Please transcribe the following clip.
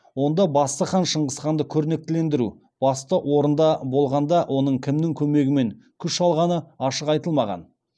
онда басты қаһарман шыңғысханды көрнектілендіру басты орында болғанда оның кімнің көмегімен күш алғаны ашық айтылмаған